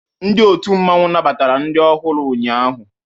Ndi ọtu mmanwu nnabatara ndi ọhuu ụnyaahụ.